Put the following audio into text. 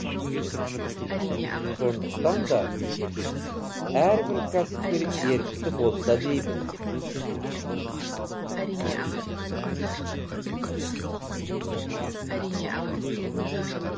сондықтан да әрбір кәсіпкер ерікті болса деймін